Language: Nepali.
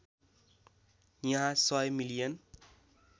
यहाँ १०० मिलियन